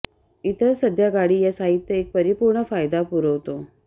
इतर सध्या गाडी या साहित्य एक परिपूर्ण फायदा पुरवतो